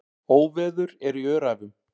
Óveður er í Öræfum.